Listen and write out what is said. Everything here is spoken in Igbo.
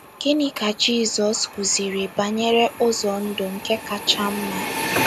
Gịnị ka Jizọs kụziiri banyere ụzọ ndụ nke kacha mma?